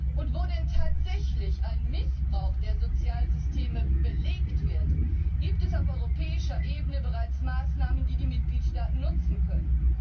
Und wo denn tatsächlich ein Missbrauch der Sozialsysteme belegt wird, gibt es auf europäischer Ebene bereits Maßnahmen, die die Mitgliedstaaten nutzen können.